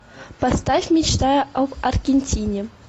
поставь мечтая об аргентине